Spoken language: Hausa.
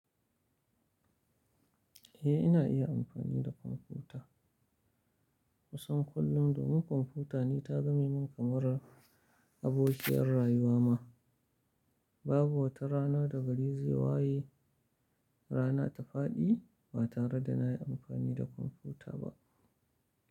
Eh ina iya amfani da kwamfuta. Kusan kullum domin kwamfutani ta zame min kamar abokiyar rayuwa ma. Babu wata rana da bari zai waye rana ta faɗi ba tare da na yi amfani da kwamfuta ba.